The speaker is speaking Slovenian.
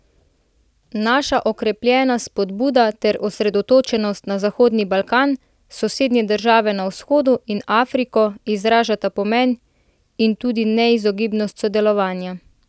Naša okrepljena spodbuda ter osredotočenost na Zahodni Balkan, sosednje države na vzhodu in Afriko izražata pomen in tudi neizogibnost sodelovanja.